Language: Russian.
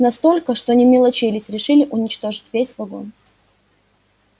настолько что не мелочились решили уничтожить весь вагон